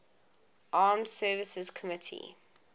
armed services committee